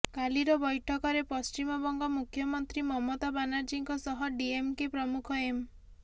କାଲିର ବୈଠକରେ ପଶ୍ଚିମବଙ୍ଗ ମୁଖ୍ୟମନ୍ତ୍ରୀ ମମତା ବାନାର୍ଜୀଙ୍କ ସହ ଡିଏମ୍କେ ପ୍ରମୁଖ ଏମ୍